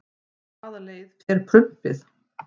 Hvaða leið fer prumpið?